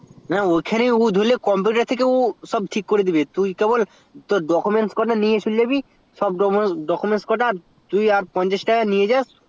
না ওখানেই ধরলাইবো computer থেকে করে দিবে তো তুই কবে সব documents গুলো নিয়ে জাবি আর পঞ্চাশ টাকা নিয়ে যাস